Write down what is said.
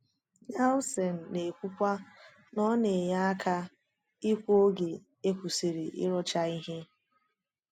Nelsen na-ekwukwa na “ọ na-enye aka ikwu oge e kwesịrị ịrụcha ihe."